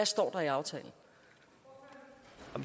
står i aftalen